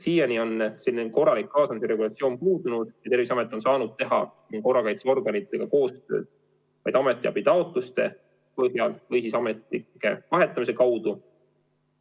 Siiani on selge kaasamise regulatsioon puudunud ja Terviseamet on saanud korrakaitseorganitega koostööd teha vaid ametiabitaotluste põhjal või siis ametnike vahetamise abil.